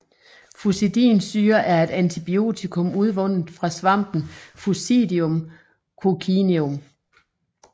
Fusidinsyre er et antibiotikum udvundet fra svampen Fusidium Coccineum